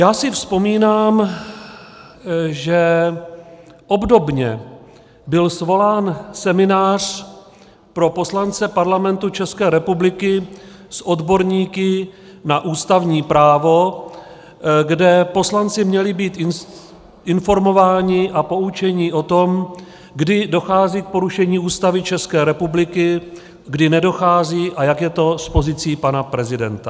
Já si vzpomínám, že obdobně byl svolán seminář pro poslance Parlamentu České republiky s odborníky na ústavní právo, kde poslanci měli být informováni a poučeni o tom, kdy dochází k porušení Ústavy České republiky, kdy nedochází a jak je to s pozicí pana prezidenta.